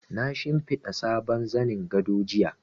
Na shimfiɗa sabon zanin gado jiya.